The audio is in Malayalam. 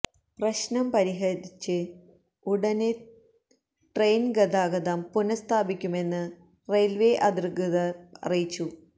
പ്രശ്നം പരിഹരിച്ച് ഉടന്തന്നെ ട്രെയിന് ഗതാഗതം പുനസ്ഥാപിക്കുമെന്ന് റെയില്വേ അധികൃതര് അറിയിച്ചു